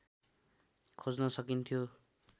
खोज्न सकिन्थ्यो